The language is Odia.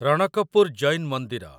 ରଣକପୁର ଜୈନ୍ ମନ୍ଦିର